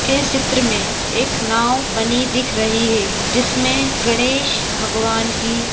इस चित्र मे एक नाव बनी दिख रही हैं जिसमे गणेश भगवान की--